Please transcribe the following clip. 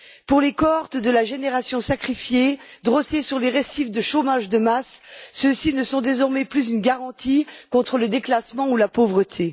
Pour les cohortes de la génération sacrifiée, drossées sur les récifs de chômage de masse, les diplômes ne sont désormais plus une garantie contre le déclassement ou la pauvreté.